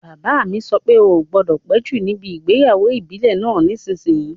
Bàbá mi sọ pé "O gbọdọ̀ péjú níbi ìgbéyàwó ìbílẹ̀ náà nísìsiyìí!"